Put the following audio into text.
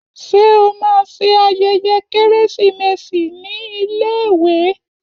Ṣé o máa ṣe ayẹyẹ Kérésìmesì ní iléèwé?